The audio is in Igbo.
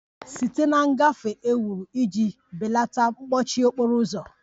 Site na ngafe e wuru iji belata mkpọchi okporo ụzọ